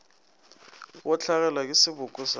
go hlagelwa ke seboko sa